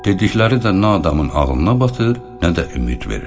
Dedikləri də nə adamın ağlına batır, nə də ümid verir.